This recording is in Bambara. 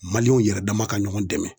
Maliyɛnw yɛrɛ dama ka ɲɔgɔn dɛmɛ